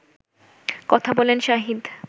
কথা বলেন শাহিদ